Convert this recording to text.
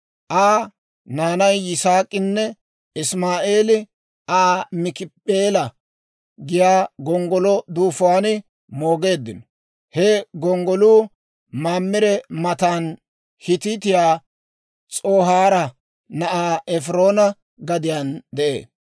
Aa naanay Yisaak'inne Isimaa'eeli Aa Maakip'eela giyaa gonggolo duufuwaan moogeeddino; he gonggoluu Mamire matan, Hiitiyaa S'ohaara na'aa Efiroona gadiyaan de'ee.